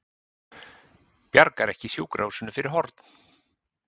Bjargar ekki sjúkrahúsinu fyrir horn